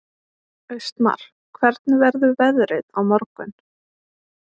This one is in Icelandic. Austmar, hvernig verður veðrið á morgun?